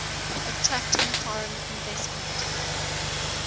attracting foreign investment